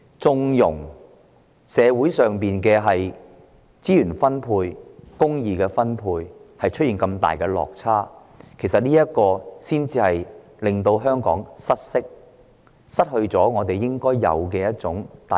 縱容社會資源的分配出現重大落差，只會令香港失色、失去互相包容的空間。